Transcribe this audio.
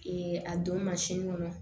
a don kɔnɔ